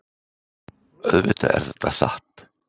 Auðvitað er þetta satt.